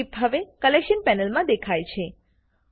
clip હવે collection પેનલમાં દેખાય છે